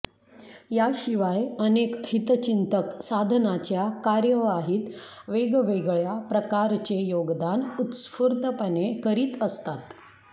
याशिवाय अनेक हितचिंतक साधनाच्या कार्यवाहीत वेगवेगळ्या प्रकारचे योगदान उत्स्फूर्तपणे करीत असतात